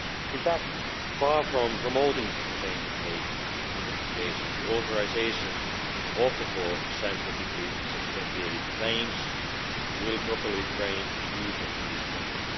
In fact, far from promoting the caffeine intake in the population, the authorisation of the four scientifically substantiated claims will properly frame the use of these claims.